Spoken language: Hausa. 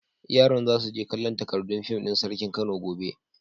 Yaran za su je kallon takardun fim din Sarkin Kano gobe.